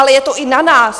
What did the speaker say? Ale je to i na nás.